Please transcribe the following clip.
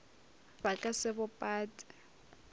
ba ka se bo pate